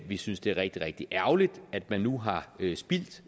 vi synes det er rigtig rigtig ærgerligt at man nu har spildt